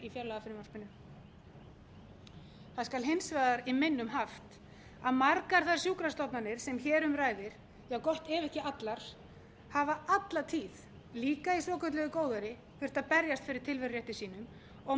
í fjárlagafrumvarpinu það skal hins vegar í minnum haft að margar þær sjúkrastofnanir sem hér um ræðir já gott ef ekki allar hafa alla tíð líka í svokölluðu góðæri þurft að berjast fyrir tilverurétti sínum og